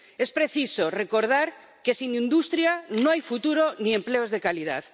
Es preciso recordar que sin industria no hay futuro ni empleos de calidad.